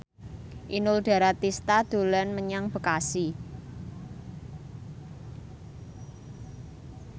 Inul Daratista dolan menyang Bekasi